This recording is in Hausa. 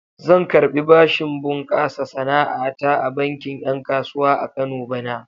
Zan karɓi bashin bunƙasa sana'a ta a bankin 'yan kasuwa a Kano bana.